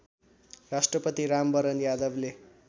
राष्ट्रपति रामवरण यादवले